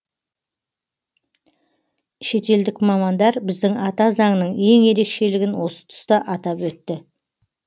шетелдік мамандар біздің ата заңның ең ерекшелігін осы тұста атап өтті